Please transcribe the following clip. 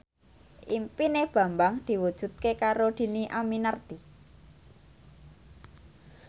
impine Bambang diwujudke karo Dhini Aminarti